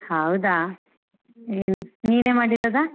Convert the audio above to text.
ಹೌದಾ ಹ್ಮ್‌ ನೀನೆ ಮಾಡಿರೋದ?